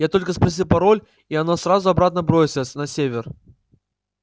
я только спросил пароль и оно сразу обратно бросилось на север